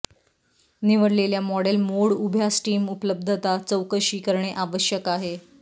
निवडलेल्या model mode उभ्या steam उपलब्धता चौकशी करणे आवश्यक आहे